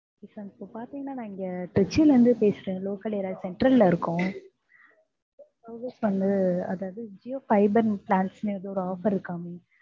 sir இப்ப பாத்திங்கன்னா நான் திருச்சில இருந்து பேசுறேன் local area central ல இருக்கோம் service அதாவது ஜியோ fiber னு plans னு ஏதோ offer இருக்காமே!